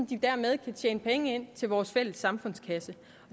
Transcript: de dermed kan tjene penge ind til vores fælles samfundskasse